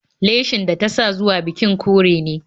Leshin da ta sa zuwa bikin kore ne